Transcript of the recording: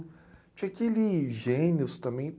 Tinha aqueles gênios também.